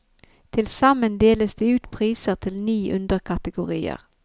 Tilsammen deles det ut priser til ni underkategorier.